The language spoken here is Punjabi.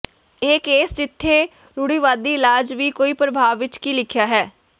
ਇਹ ਕੇਸ ਜਿੱਥੇ ਰੂੜੀਵਾਦੀ ਇਲਾਜ ਵੀ ਕੋਈ ਪ੍ਰਭਾਵ ਵਿਚ ਕੀ ਲਿਖਿਆ ਹੈ